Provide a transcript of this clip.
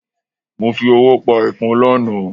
Mo fi ọwọ́ pa ẹ̀fọ́n lánàá.